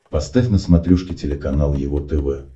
поставь на смотрешке телеканал его тв